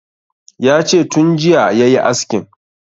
Yace tun jiya yayi askin